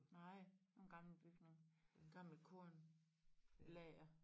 Nej en gammel bygning gammel kornlager